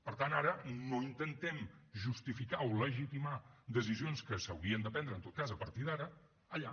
per tant ara no intentem justificar o legitimar decisions que s’haurien de prendre en tot cas a partir d’ara allà